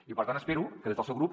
i per tant espero que des del seu grup